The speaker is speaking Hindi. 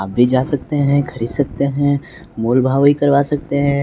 आप भी जा सकते हैं खरीद सकते हैं मोल भाव भी करवा सकते हैं।